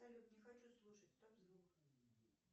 салют не хочу слушать стоп звук